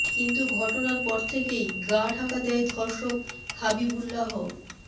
কিন্তু ঘটনার পর থেকেই গাঁ ঢাকা দেয় ধর্ষক হাবিবুল্লাহ